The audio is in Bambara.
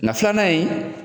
Nga filanan in